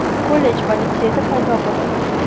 kollej va litseyda paydo bo‘ladi.